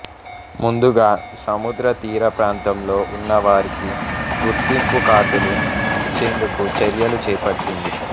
ముందుగా సముద్ర తీర ప్రాంతంలో ఉన్న వారికి గుర్తింపు కార్డులు ఇచ్చేందుకు చర్యలు చేపట్టింది